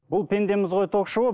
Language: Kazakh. бұл пендеміз ғой ток шоуы